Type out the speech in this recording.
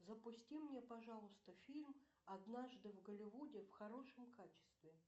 запусти мне пожалуйста фильм однажды в голливуде в хорошем качестве